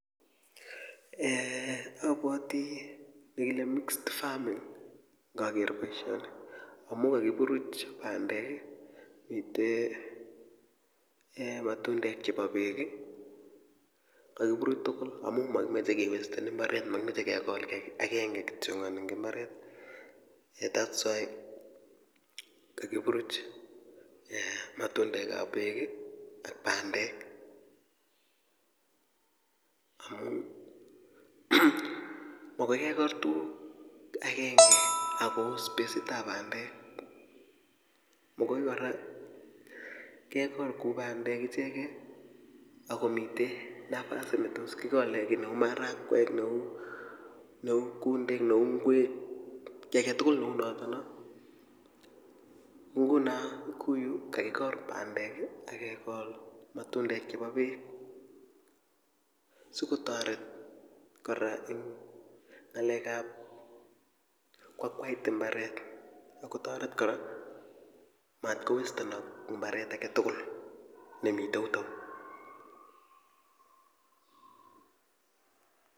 eeh abwati nekile mixed farming ngakeer boisioni amu kakiburuch bandek mite matundek chebo beek kakiburuch tugul amu makimeche kewesten mbaret makimeche kekol kiy akenge kityongon eng imbaret eeh that's why kakiburuch matundekab beek ak bandek amu magoikekol tuguk agenge akoo spasitab bandek magoi kora kekol bandek ichekei akomite nafasit netos kikole kiy neu marakwek neu kundek neu ngwek kiy aketugul neu notono nguno kouyu kakikol bandek akekol matundek chebo bek sikotoret kora eng ngalekab koakwait imbaret kotoret kora matkowestenok mbaret aketugul nemite yutou.